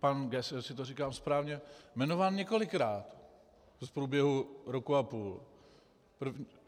pan Geuss, jestli to říkám správně, jmenován několikrát v průběhu roku a půl.